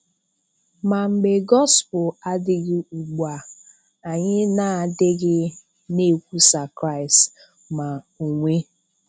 Ma mgbe Gospel adịghị ugbu a, anyị na-adịghị na-ekwùsà Kraịst, ma onwe.